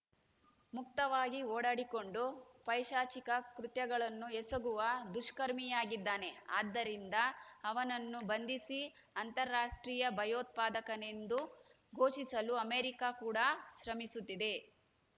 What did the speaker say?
ಮುಕ್ತವಾಗಿ ಓಡಾಡಿಕೊಂಡು ಪೈಶಾಚಿಕ ಕೃತ್ಯಗಳನ್ನು ಎಸಗುವ ದುಷ್ಕರ್ಮಿಯಾಗಿದ್ದಾನೆ ಆದ್ದರಿಂದ ಅವನನ್ನು ಬಂಧಿಸಿ ಅಂತಾರಾಷ್ಟ್ರೀಯ ಭಯೋತ್ಪಾದಕನೆಂದು ಘೋಷಿಸಲು ಅಮೆರಿಕ ಕೂಡ ಶ್ರಮಿಸುತ್ತಿದೆ